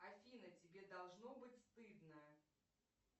афина тебе должно быть стыдно